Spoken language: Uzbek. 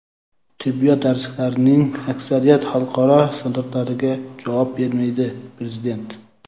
"Tibbiyot darsliklarining aksariyati xalqaro standartlarga javob bermaydi" - prezident.